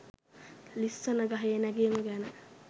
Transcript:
ලිස්සන ගහේ නැගිම ගැන